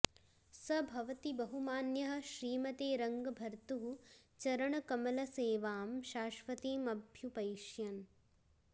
स भवति बहुमान्यः श्रीमते रङ्गभर्तुः चरण कमल सेवां शाश्वतीमभ्युपैष्यन्